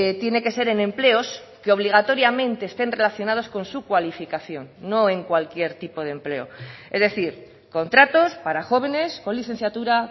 tiene que ser en empleos que obligatoriamente estén relacionados con su cualificación no en cualquier tipo de empleo es decir contratos para jóvenes con licenciatura